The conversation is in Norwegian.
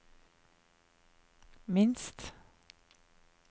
minst